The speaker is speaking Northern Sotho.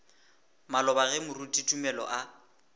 maloba ge moruti tumelo a